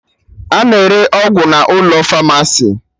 A na-ere ọgwụ n'ụlọ famasi